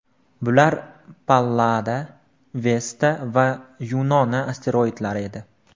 Bular Pallada, Vesta va Yunona asteroidlari edi.